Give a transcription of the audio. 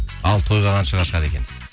ал тойға қаншаға шығады екен дейді